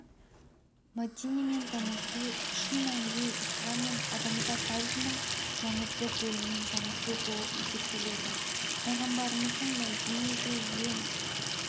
мәдинемен танысу шын мәнінде ислам мен адамзат тарихының маңызды бөлімімен танысу болып есептеледі пайғамбарымыздың мәдинеде ең